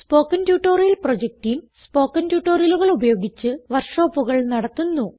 spoken tutorial project team spoken ട്യൂട്ടോറിയലുകൾ ഉപയോഗിച്ച് വർക്ക് ഷോപ്പുകൾ നടത്തുന്നു